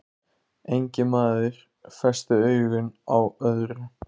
Enginn maður festi augu á öðrum.